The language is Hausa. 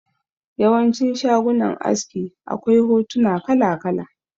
Yawancin shagunan aski akwai hotuna kala kala